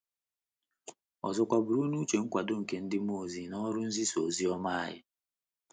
Ọzọkwa, buru n’uche nkwado nke ndị mmụọ ozi n’ọrụ nzisa ozi ọma anyị.